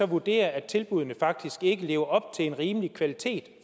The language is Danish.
vurderer at tilbuddene faktisk ikke lever op til en rimelig kvalitet